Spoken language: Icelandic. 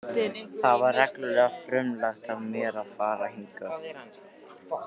Það var reglulega frumlegt af mér að fara hingað.